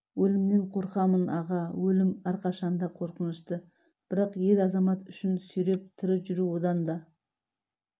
өлімнен қорқамын аға өлім әрқашан да қорқынышты бірақ ер-азамат үшін сүйреп тірі жүру одан да